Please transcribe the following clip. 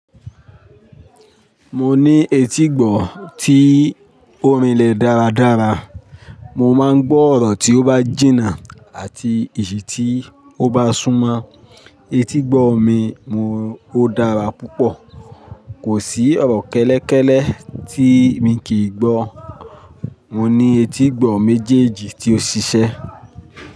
Mo ní etígbọ̀ tí ó rinlẹ̀ dáradára, mo máa ń gbọ́ ọ̀rọ̀ tí ó bá jìnnà àti èyì tí ó bá súnmọ́. Etígbọ̀ mi ò dára púpọ̀, kò sí ọ̀rọ̀ kẹ́lẹ́kẹ́lẹ́ tí mi kì í gbọ́. Mo ní etígbọ̀ méjèèjì tí ó ṣiṣẹ́.